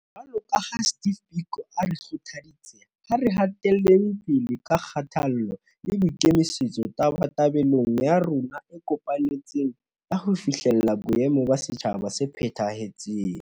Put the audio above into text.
Jwalo ka ha Steve Biko a re kgothaditse, ha re hateleng pele ka kgothalo le boikemi-setso tabatabelong ya rona e kopanetsweng ya ho fihlella boemo ba setjhaba se phetha-hetseng.